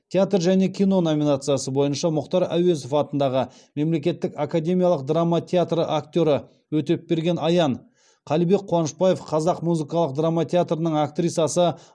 театр және кино номинациясы бойынша мұхтар әуезов атындағы мемлекеттік академиялық драма театры актері өтепберген аян қалибек қуанышбаев қазақ музыкалық драма театрының актрисасы